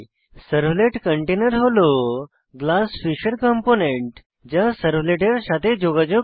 servlet কন্টেইনের হল GlassFish এর কম্পোনেন্ট যা সার্ভলেটের সাথে যোগাযোগ করে